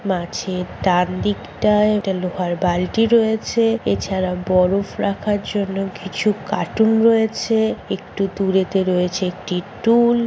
মাছের ডান দিকটায় একটা লোহার বালতি রয়েছে এছাড়াও বরফ রাখার জন্য কিছু কার্টুন রয়েছে একটু দুরেতে রয়েছে একটি টুল ।